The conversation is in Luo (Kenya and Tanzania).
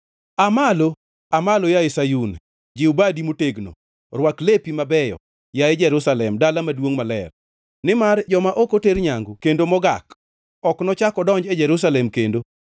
Aa malo, Aa malo, yaye Sayun, jiw badi motegno! Rwak lepi mabeyo, yaye Jerusalem dala maduongʼ maler. Nimar joma ok oter nyangu kendo mogak, ok nochak odonji e Jerusalem kendo.